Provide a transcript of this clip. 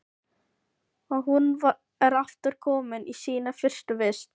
Og hún er aftur komin í sína fyrstu vist.